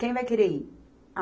Quem vai querer ir?